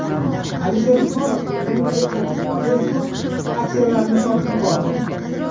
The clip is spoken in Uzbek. Alisher Usmonov o‘zining Apple va Facebook aksiyalarini sotib yubordi.